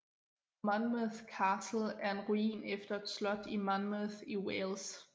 Monmouth Castle er en ruin efter et slot i Monmouth i Wales